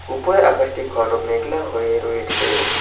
উপরে আকাশটি ঘন মেঘলা হয়ে রয়েছে।